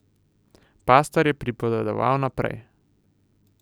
Pastor je pripovedoval naprej.